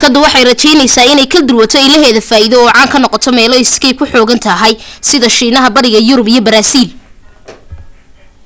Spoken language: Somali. shirkadu waxay rajaynaysaa inay kal duwato ilaheed faa'iido oo caan ka noqoto meelo skype ku xooggan tahay sida shiinaha bariga yurub iyo baraasiil